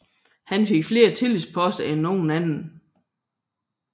Han fik flere tillidsposter end nogen anden